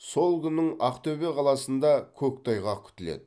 сол күнің ақтөбе қаласында көктайғақ күтіледі